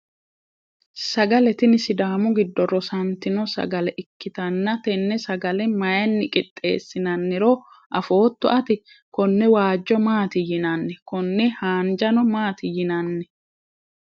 sagale tini sidaamu giddo rosantino sagale ikkitanna, tenne sagale mayiinni qixxeessinanniro afootto ati? konne waajjo maati yinanni? konne haanjano maati yinanni?